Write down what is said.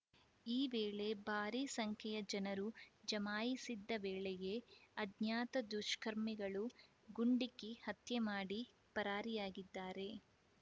ಈ ವೇಳೆ ಭಾರಿ ಸಂಖ್ಯೆಯ ಜನರು ಜಮಾಯಿಸಿದ್ದ ವೇಳೆಯೇ ಅಜ್ಞಾತ ದುಷ್ಕರ್ಮಿಗಳು ಗುಂಡಿಕ್ಕಿ ಹತ್ಯೆ ಮಾಡಿ ಪರಾರಿಯಾಗಿದ್ದಾರೆ